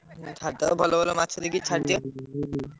ଭଲ ଭଲ ମାଛ ଦେଖିକି ଛାଡି ଦିଅ।